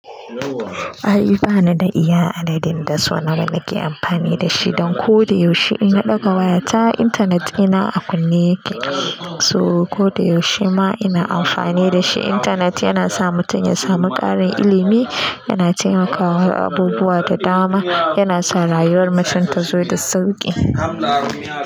Ai, ba ni da iya adadin da so nawa nake amfani da shi, dan ko da yaushe ina ɗauka wayata, intanet ina a kunne yake, so ko da yaushe ma ina amfani da shi. Intanet yana sa mutum ya samu ƙarin ilimi, yana taimakawa abubuwa da dama, yana sa rayuwar mutum ta zo da sauƙi.